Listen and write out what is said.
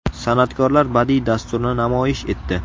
San’atkorlar badiiy dasturni namoyish etdi.